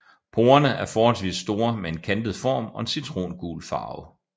Porerne er forholdsvis store med en kantet form og en citrongul farve